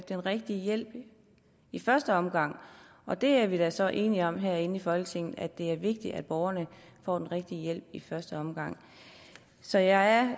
den rigtige hjælp i første omgang og det er vi da så enige om herinde i folketinget det er vigtigt at borgerne får den rigtige hjælp i første omgang så jeg er